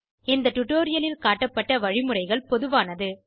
இந்த டுடோரியலில் காட்டப்பட்ட வழிமுறைகள் பொதுவானது